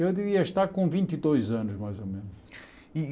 Eu devia estar com vinte e dois anos, mais ou menos. E e